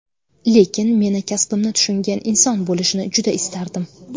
Lekin meni, kasbimni tushungan inson bo‘lishini juda istardim.